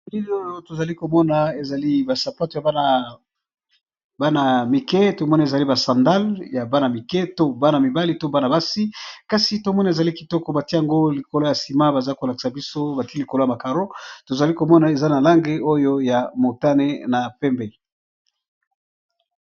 Elili oyo tozali komona ezali ba sapato ya bana mike ezali ba sandale ya bana mike to bana mibali, to bana basi kasi tomoni ezali kitoko batie yango likolo ya sima, baza kolakisa biso batie likolo ya carreau tozali komona eza na lange oyo ya motane na pembe.